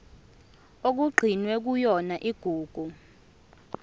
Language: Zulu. okugcinwe kuyona igugu